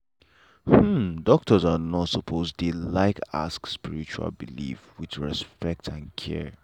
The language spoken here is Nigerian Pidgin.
hmm doctor and nurse suppose dey like ask about spiritual belief with respect and care.